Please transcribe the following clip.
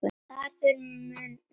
Það þarf mun meira til.